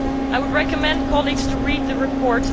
I would recommend that colleagues read the report.